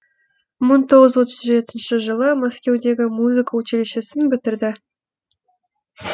мың тоғыз жүз отыз жетінші жылы мәскеудегі музыка училищесін бітірді